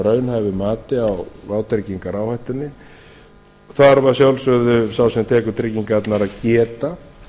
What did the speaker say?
raunhæfu mati á vátryggingaráhættunni þarf að sjálfsögðu sá sem tekur tryggingarnar að geta